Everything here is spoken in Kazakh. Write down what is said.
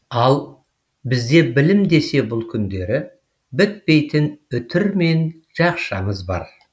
ал бізде білім десе бұл күндері бітпейтін үтір мен жақшамыз бар